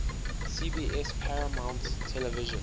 cbs paramount television